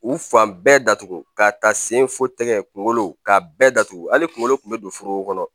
U fan bɛɛ datugu ka taa sen fo tɛgɛ kunkolo k'a bɛɛ datugu hali kunkolo kun be don forow kɔnɔ